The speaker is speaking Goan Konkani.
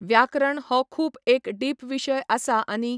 व्याकरण हो खूब एक डीप विशय आसा आनी.